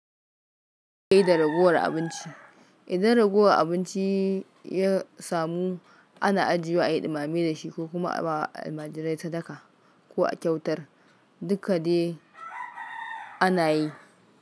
E da ragowar abinci. Idan ragowar abinci ya samu ana ajiye wa a yi ɗumame da shi ko kuma a ba wa almajirai sadaka ko a kyautar. Dukka dai ana yi.